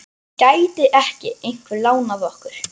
Gæti ekki einhver lánað okkur?